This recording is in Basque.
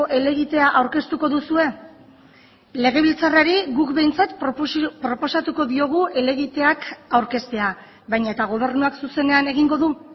helegitea aurkeztuko duzue legebiltzarrari guk behintzat proposatuko diogu helegiteak aurkeztea baina eta gobernuak zuzenean egingo du